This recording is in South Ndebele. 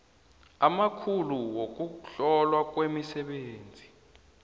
amakhulu wokuhlolwa kwemisebenzi